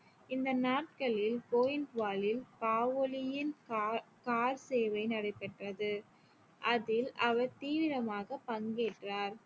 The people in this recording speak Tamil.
இந்த நாட்களில் கோயிந்த் வாலில் காவோலியின் கா~ கார் சேவை நடைபெற்றது அதில் அவர் தீவிரமாக பங்கேற்றார்